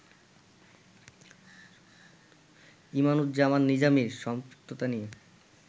ইমামুজ্জামান নিজামীর সম্পৃক্ততা নিয়ে